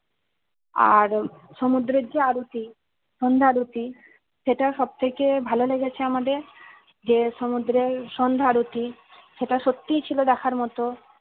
আহ সমুদ্রে যে আরতি সন্ধ্যাআরতী সেটা সবথেকে ভালো লেগেছে আমাদের যে সমুদ্রে সন্ধ্যা আরতি সেটা সত্যি ছিল দেখার মতো